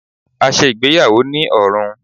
A ṣe igbeyawo ni ọrun